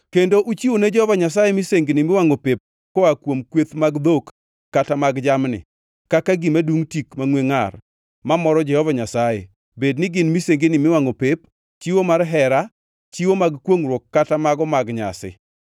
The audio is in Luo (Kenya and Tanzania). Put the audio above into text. kendo uchiwone Jehova Nyasaye misengini miwangʼo pep koa kuom kweth mag dhok kata mag jamni, kaka gima dungʼ tik mangʼwe ngʼar mamoro Jehova Nyasaye bed ni gin misengini miwangʼo pep, chiwo mar hera, chiwo mag kwongʼruok kata mago mag nyasi.